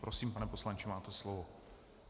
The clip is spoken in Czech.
Prosím, pane poslanče, máte slovo.